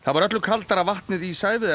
var öllu kaldara vatnið í